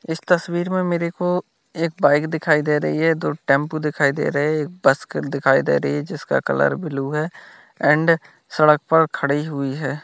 इस तस्वीर में मेरे को एक बाइक दिखाई दे रही है दो टेम्पो दिखाई दे रहे है एक बस खड़ी दिखाई दे रही है जिसका कलर ब्ल्यू है एंड सड़क पर खड़ी हुई है।